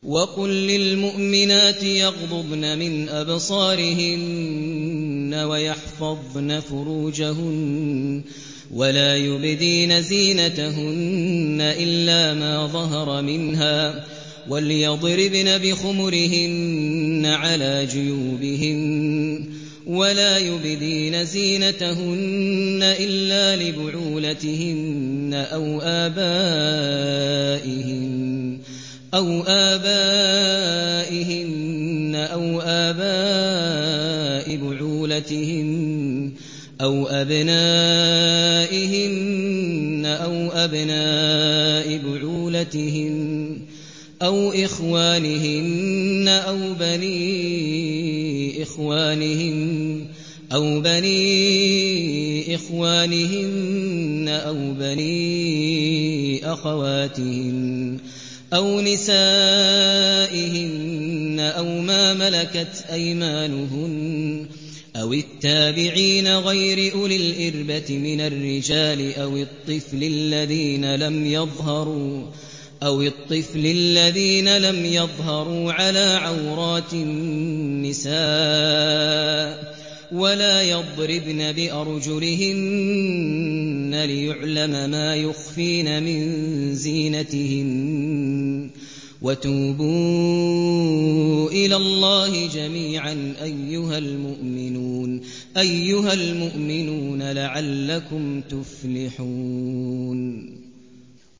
وَقُل لِّلْمُؤْمِنَاتِ يَغْضُضْنَ مِنْ أَبْصَارِهِنَّ وَيَحْفَظْنَ فُرُوجَهُنَّ وَلَا يُبْدِينَ زِينَتَهُنَّ إِلَّا مَا ظَهَرَ مِنْهَا ۖ وَلْيَضْرِبْنَ بِخُمُرِهِنَّ عَلَىٰ جُيُوبِهِنَّ ۖ وَلَا يُبْدِينَ زِينَتَهُنَّ إِلَّا لِبُعُولَتِهِنَّ أَوْ آبَائِهِنَّ أَوْ آبَاءِ بُعُولَتِهِنَّ أَوْ أَبْنَائِهِنَّ أَوْ أَبْنَاءِ بُعُولَتِهِنَّ أَوْ إِخْوَانِهِنَّ أَوْ بَنِي إِخْوَانِهِنَّ أَوْ بَنِي أَخَوَاتِهِنَّ أَوْ نِسَائِهِنَّ أَوْ مَا مَلَكَتْ أَيْمَانُهُنَّ أَوِ التَّابِعِينَ غَيْرِ أُولِي الْإِرْبَةِ مِنَ الرِّجَالِ أَوِ الطِّفْلِ الَّذِينَ لَمْ يَظْهَرُوا عَلَىٰ عَوْرَاتِ النِّسَاءِ ۖ وَلَا يَضْرِبْنَ بِأَرْجُلِهِنَّ لِيُعْلَمَ مَا يُخْفِينَ مِن زِينَتِهِنَّ ۚ وَتُوبُوا إِلَى اللَّهِ جَمِيعًا أَيُّهَ الْمُؤْمِنُونَ لَعَلَّكُمْ تُفْلِحُونَ